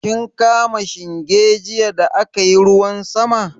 Kin kama shinge jiya da aka yi ruwan sama?